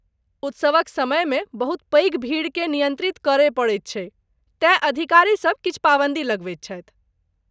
उत्सवक समयमे बहुत पैघ भीड़केँ नियन्त्रित करय पड़ैत छैक तेँ अधिकारीसभ किछु पाबन्दी लगबैत छथि।